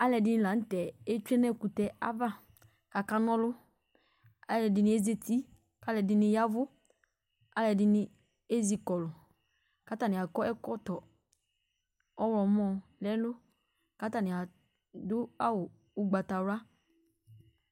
Alʋɛdɩnɩ la nʋ tɛ etsue nʋ ɛkʋtɛ ava kʋ akana ɔlʋ Alʋɛdɩnɩ ezati, alʋɛdɩnɩ ya ɛvʋ, alʋɛdɩnɩ ezi kɔlʋ kʋ atanɩ akɔ ɛkɔtɔ ɔɣlɔmɔ nʋ ɛlʋ kʋ atanɩ adʋ awʋ ʋgbatawla